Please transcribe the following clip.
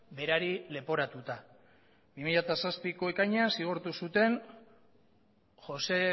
berari leporatuta bi mila zazpiko ekainean zigortu zuten josé